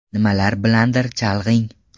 Nima bilandir chalg‘ing.